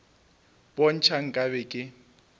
bo ntšha nka be ke